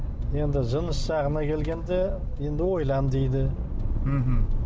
енді жыныс жағына келгенде енді ойлан дейді мхм